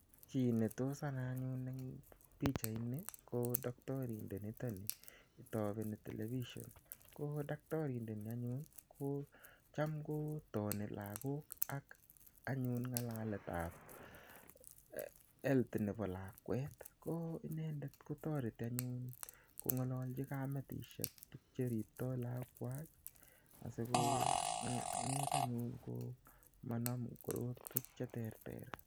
Chi ne tos anai anyun en pichaini ko daktarindenitani tapeni telepishon . Ko daktarindeni anyun kocham kotani lagok ak anyun ng'alalet ap health nepo lakwet. Ko inendet ko tareti anyun kong'alalchi kametushek tuguk che riptai lakwet asing'et anyun ko manam korokwek che terter.